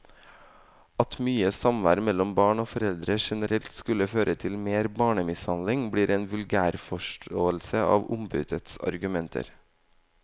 At mye samvær mellom barn og foreldre generelt skulle føre til mer barnemishandling, blir en vulgærforståelse av ombudets argumenter.